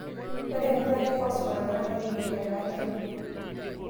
ore empikata ee phosphorus NAA kepiki etaa keku